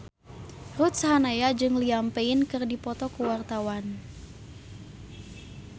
Ruth Sahanaya jeung Liam Payne keur dipoto ku wartawan